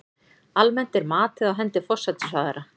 Almennt er matið á hendi forsætisráðherra.